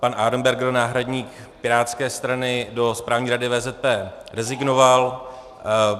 Pan Arenberger, náhradník pirátské strany do správní rady VZP, rezignoval.